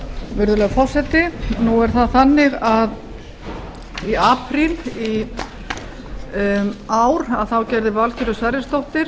virðulegur forseti nú er það þannig að í apríl í ár gerði valgerður sverrisdóttir